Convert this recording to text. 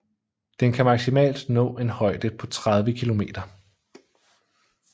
Den kan maksimalt nå en højde på 30 kilometer